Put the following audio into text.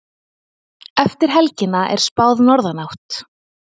Eftir helgina er spáð norðanátt